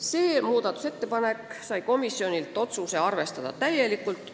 See muudatusettepanek sai komisjonilt otsuse: arvestada täielikult.